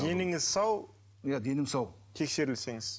деніңіз сау иә денім сау тексерілсеңіз